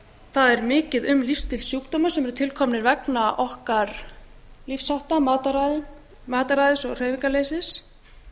það er mikið um ristilsjúkdóma sem eru til komnir vegna okkar lífshátta mataræði og hreyfingarleysis